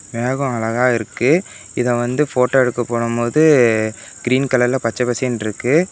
மேகம் அழகா இருக்கு இத வந்து போட்டோ எடுக்க போனம்போது க்ரீன் கலர்ல பச்ச பசேல்ன்னு இருக்கு.